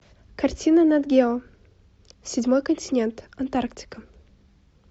картина нат гео седьмой континент антарктика